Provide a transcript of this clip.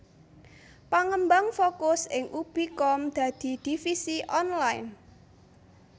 Pangembang fokus ing ubi com dadi divisi online